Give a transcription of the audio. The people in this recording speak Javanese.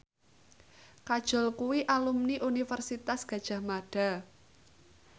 Kajol kuwi alumni Universitas Gadjah Mada